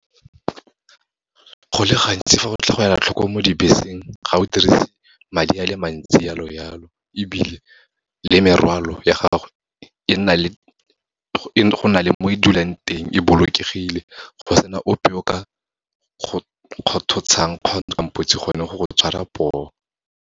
Go le gantsi fa go tla go ela tlhoko mo dibeseng, ga o dirise madi a le mantsi jalo-jalo, ebile le morwalo ya gagwe go na le mo e dulang teng e bolokegile, go sena ope o ka go kgothosang gone go go tshwara poo.